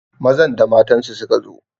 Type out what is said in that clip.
Mazan da matansu suka zo